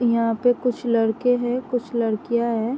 यहां पे कुछ लडके हैं कुछ लड़कियां हैं।